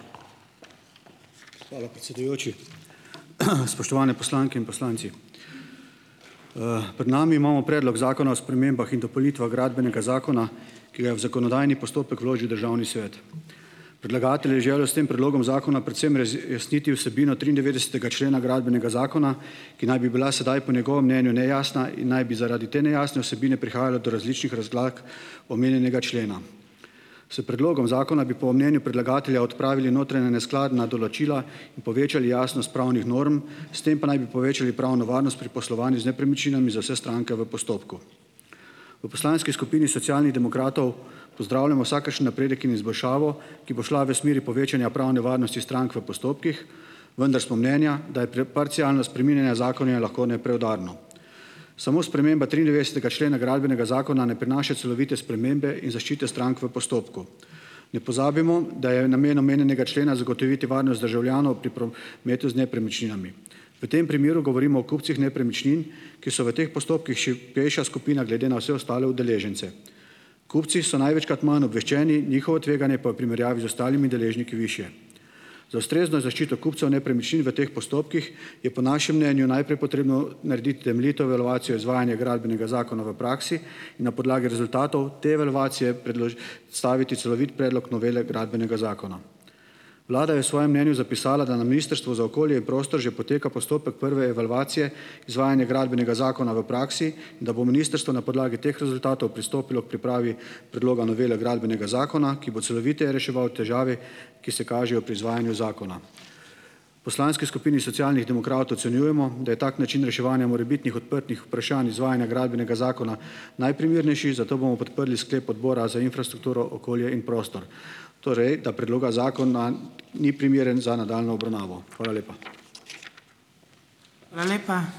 Hvala, predsedujoči. Spoštovane poslanke in poslanci! Pred nami imamo Predlog zakona o spremembah in dopolnitvah Gradbenega zakona, ki ga je v zakonodajni postopek vložil Državni svet. Predlagatelj je želel s tem predlogom zakona predvsem razjasniti vsebino triindevetdesetega člena Gradbenega zakona, ki naj bi bila sedaj po njegovem mnenju nejasna in naj bi zaradi te nejasne vsebine prihajalo do različnih razlag omenjenega člena. S predlogom zakona bi po mnenju predlagatelja odpravili notranje neskladna določila in povečali jasnost pravnih norm, s tem pa naj bi povečali pravno varnost pri poslovanju z nepremičninami za vse stranke v postopku. V poslanski skupini Socialnih demokratov pozdravljamo vsakršen napredek in izboljšavo, ki bo šla v smeri povečanja pravne varnosti strank v postopkih, vendar smo mnenja, da je parcialno spreminjanje zakona lahko nepreudarno. Samo sprememba triindevetdesetega člena Gradbenega zakona ne prinaša celovite spremembe in zaščite strank v postopku. Ne pozabimo, da je namen omenjenega člena zagotoviti varnost državljanov pri prometu z nepremičninami. V tem primeru govorimo o kupcih nepremičnin, ki so v teh postopkih šibkejša skupina glede na vse ostale udeležence. Kupci so največkrat manj obveščeni, njihovo tveganje pa je v primerjavi z ostalimi deležniki višje. Za ustrezno zaščito kupcev nepremičnin v teh postopkih je po našem mnenju najprej potrebno narediti temeljito evalvacijo izvajanja Gradbenega zakona v praksi in na podlagi rezultatov te evalvacije celovit predlog novele gradbenega zakona. Vlada je v svojem mnenju zapisala, da na Ministrstvu za okolje prostor že poteka postopek prve evalvacije izvajanja Gradbenega zakona v praksi, da bo Ministrstvo na podlagi teh rezultatov pristopilo k pripravi predloga novele Gradbenega zakona, ki bo celoviteje reševal težave, ki se kažejo pri izvajanju zakona. V poslanski skupini Socialnih demokratov ocenjujemo, da je tak način reševanja morebitnih odprtih vprašanj izvajanja gradbenega zakona najprimernejši, zato bomo podprli sklep Odbora za infrastrukturo, okolje in prostor, torej da predloga zakona ni primeren za nadaljnjo obravnavo. Hvala lepa.